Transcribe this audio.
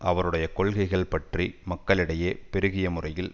அவருடைய கொள்கைகள் பற்றி மக்களிடையே பெருகிய முறையில்